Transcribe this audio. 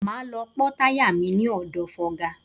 Máa lọ pọ́ táyà mi ní ọ̀dọ̀ fọga.